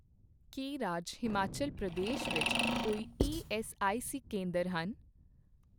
ਕੀ ਰਾਜ ਹਿਮਾਚਲ ਪ੍ਰਦੇਸ਼ ਵਿੱਚ ਕੋਈ ਈਐੱਸਆਈਸੀ ਕੇਂਦਰ ਹਨ ?